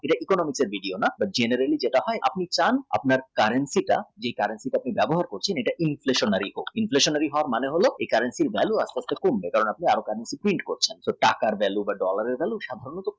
যে economically দিক দিয়ে না generally যেটা হয় আপনি চান currency currency টা যে currency আপনি ব্যবহার করছেন এটা inflationary হোক inflationary মানে এই currency এর value আস্তে আস্তে কমবে কেন আমি দাম কমাটা feel যেমন টাকার value dollar এর value